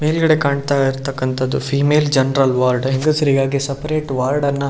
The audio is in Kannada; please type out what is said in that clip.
ಮೇಲ್ಗಡೆ ಕಾಣ್ತಾ ಇರ್ತಕ್ಕಂತಹದು ಫೀಮೇಲ್ ಜನರಲ್ ವಾರ್ಡ್ ಹೆಂಗಸರಿಗಾಗಿ ಸಪರೇಟ್ ವಾರ್ಡ್ ಅನ್ನ --